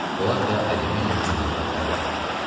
Polad və alüminium cihazlar bərq vururdu.